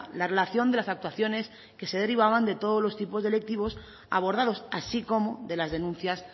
la relación de las actuaciones que se derivaban de todos los tipos de delictivos abordados así como de las denuncias